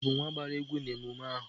Nke a bụ nwa gbara egwu na emume ahụ